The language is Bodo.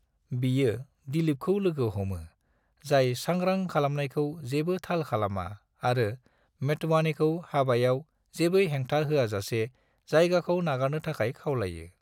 बियो दिलीपखौ लोगो हमो, जाय सांग्रां खालामनायखौ जेबो थाल खालामा आरो मोटवानीखौ हाबायाव जेबो हेंथा होआजासे जायगाखौ नागारनो थाखाय खावलायो।